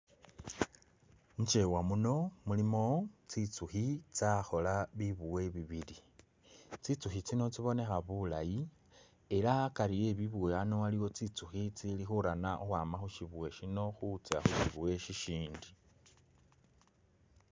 Mu kyewa muno mulimo tsitsukhi tsakhola bi buwe bibili, tsitsukhi tsino tsibonekha bulayi era akari ebibuwe bino waliwo tsitsukhi tsili khurana ukhwa khushibuwe shino khutsya khushibuwe shi shindi .